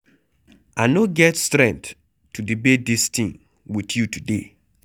I no get strength to debate dis thing with you today.